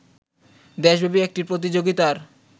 দেশব্যাপী একটি প্রতিযোগিতার